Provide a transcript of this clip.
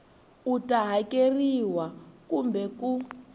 u ta hakerisiwa kumbe ku